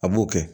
A b'o kɛ